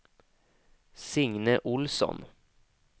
Signe Ohlsson